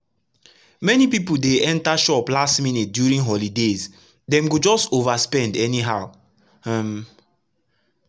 many people dey enter shop last minute during holidays dem go just overspend anyhow. um